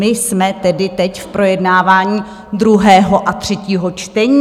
My jsme tedy teď v projednávání druhého a třetího čtení?